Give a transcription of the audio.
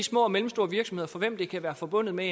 små og mellemstore virksomheder for hvem det kan være forbundet med